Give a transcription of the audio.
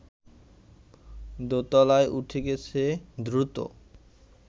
দোতলায় উঠে গেছে দ্রুত